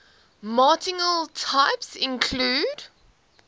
martingale types include